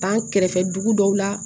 An kɛrɛfɛ dugu dɔw la